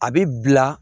A bɛ bila